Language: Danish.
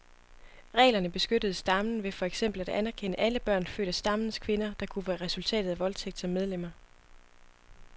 Reglerne beskyttede stammen ved for eksempel at anerkende alle børn født af stammens kvinder, der kunne være resultatet af voldtægt, som medlemmer.